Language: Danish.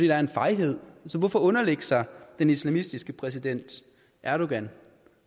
er en fejhed hvorfor underlægge sig den islamistiske præsident erdogan